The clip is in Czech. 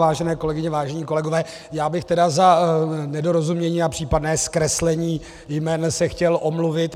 Vážené kolegyně, vážení kolegové, já bych tedy za nedorozumění a případné zkreslení jmen se chtěl omluvit.